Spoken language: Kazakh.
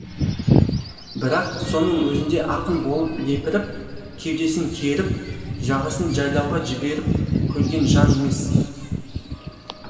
бірақ соның өзінде ақын болып лепіріп кеудесін керіп жағасын жайлауға жіберіп көрген жан емес